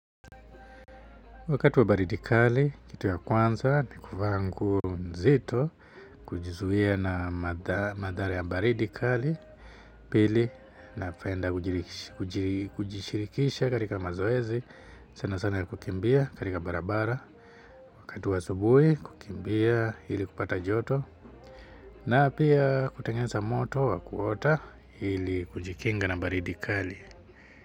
Wakati wa baridi kali kitu ya kwanza ni kuvaa nguo mzito kujizuia na madhara ya baridi kali pili napenda kujishirikisha katika mazoezi sana sana ya kukimbia katika barabara wakati wa asubuhi kukimbia ili kupata joto na pia kutengeza moto wa kuota ili kujikinga na baridi kali.